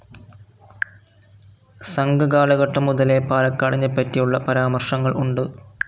സംഘകാല ഘട്ടം മുതലേ പാലക്കാടിനെപ്പറ്റിയുള്ള പരാമർശങ്ങൾ ഉണ്ട്.